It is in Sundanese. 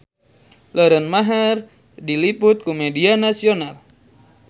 Lauren Maher diliput ku media nasional